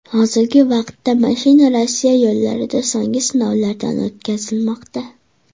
Hozirgi vaqtda mashina Rossiya yo‘llarida so‘nggi sinovlardan o‘tkazilmoqda.